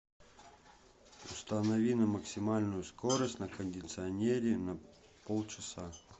установи на максимальную скорость на кондиционере на полчаса